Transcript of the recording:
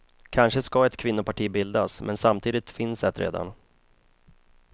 Kanske ska ett kvinnoparti bildas, men samtidigt finns ett redan.